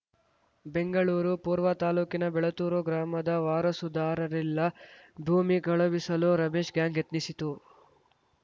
ಬೆಂಗಳೂರು ಪೂರ್ವ ತಾಲೂಕಿನ ಬೆಳತ್ತೂರು ಗ್ರಾಮದ ವಾರಸುದಾರರಿಲ್ಲ ಭೂಮಿ ಕಳುಬಿಸಲು ರಮೇಶ್‌ ಗ್ಯಾಂಗ್‌ ಯತ್ನಿಸಿತು